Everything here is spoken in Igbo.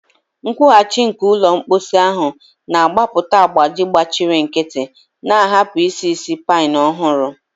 Nkwughachi nke ụlọ mposi ahụ na-agbapụta agbaji gbachiri nkịtị, na-ahapụ isi ísì pine ọhụrụ.